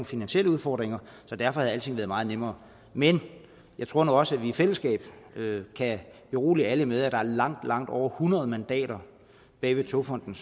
finansielle udfordringer så derfor havde alting været meget nemmere men jeg tror nu også at vi i fællesskab kan berolige alle med at der er langt langt over hundrede mandater bag togfonden